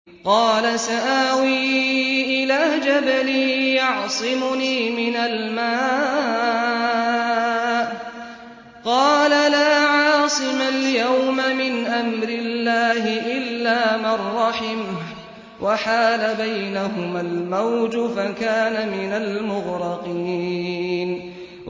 قَالَ سَآوِي إِلَىٰ جَبَلٍ يَعْصِمُنِي مِنَ الْمَاءِ ۚ قَالَ لَا عَاصِمَ الْيَوْمَ مِنْ أَمْرِ اللَّهِ إِلَّا مَن رَّحِمَ ۚ وَحَالَ بَيْنَهُمَا الْمَوْجُ فَكَانَ مِنَ الْمُغْرَقِينَ